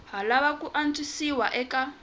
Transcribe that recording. ha lava ku antswisiwa eka